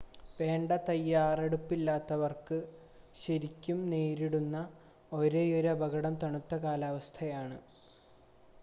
വേണ്ട തയ്യാറെടുപ്പില്ലാത്തവർ ശരിക്കും നേരിടുന്ന ഒരേയൊരു അപകടം തണുത്ത കാലാവസ്ഥയാണ്